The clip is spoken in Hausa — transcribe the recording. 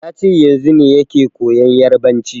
Yace yanzu ne yake koyan yarabanci